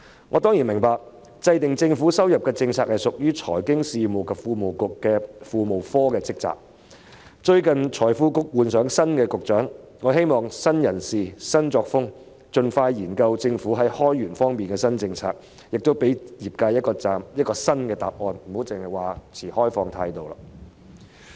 我當然明白，制訂政府收入政策屬於財經事務及庫務局庫務科的職責，而最近該局換了新局長，我希望會有新人事、新作風，使局方能夠盡快研究政府在開源方面的新政策，亦可以給予業界一個新答案，不要再只說持開放態度。